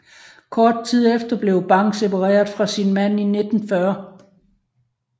Kort tid efter blev Bang separeret fra sin mand i 1914